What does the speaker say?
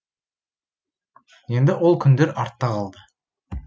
енді ол күндер артта қалды